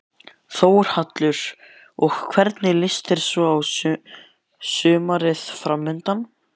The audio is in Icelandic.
Þórhallur: Og hvernig líst þér svo á sumarið framundan?